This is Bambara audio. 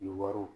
Ni wariw